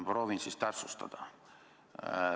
Proovin siis täpsustada.